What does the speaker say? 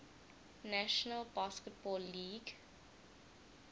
national basketball league